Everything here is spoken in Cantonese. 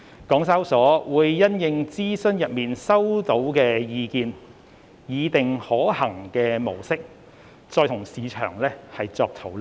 港交所會因應諮詢中收集到的意見，擬定可行的模式，與市場再作討論。